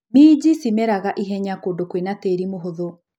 Minji cimeraga ihenya kũndũ kwĩna tĩri mũhũthu.